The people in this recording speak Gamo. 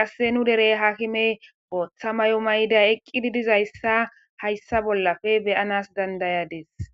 qasse nu dere haakimey bootha mayo mayidi eqqidi dizayssa ne7ashe days.